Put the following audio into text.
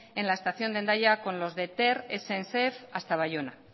en la estación de hendaya con los de ter y sncf hasta baiona